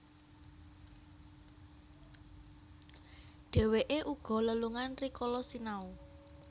Dhèwèké uga lelungan rikala sinau